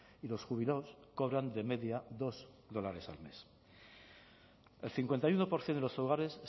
y los jubilados cobran de media dos dólares al mes el cincuenta y uno por ciento de los hogares